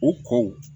U kɔ